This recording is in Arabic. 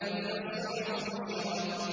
وَإِذَا الصُّحُفُ نُشِرَتْ